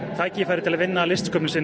tækifæri til að vinna að listsköpun sinni